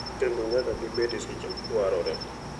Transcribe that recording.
Kendo nyaka gibed e seche ma dwarore.